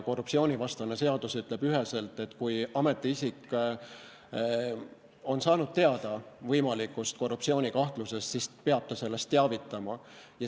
Korruptsioonivastane seadus ütleb üheselt, et kui ametiisik on saanud teada võimalikust korruptsioonikahtlusest, siis peab ta sellest teavitama.